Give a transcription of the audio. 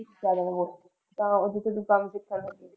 ਜ਼ਿਆਦਾ ਨਾ ਬੋਲ ਆਹੋ ਜਿਨ੍ਹਾਂ ਕੰਮ ਕੀਤਾ ਸੀ।